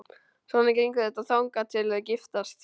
Svona gengur þetta þangað til þau giftast.